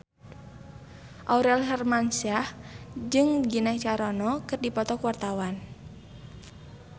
Aurel Hermansyah jeung Gina Carano keur dipoto ku wartawan